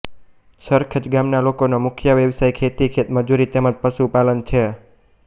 સરખેજ ગામના લોકોનો મુખ્ય વ્યવસાય ખેતી ખેતમજૂરી તેમ જ પશુપાલન છે